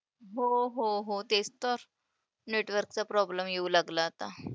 हो हो हो, तेच तर. network चा problem येऊ लागला आता.